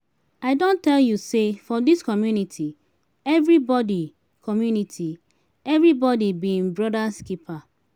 i don tell you sey for dis community everybodi community everybodi be im broda's keeper.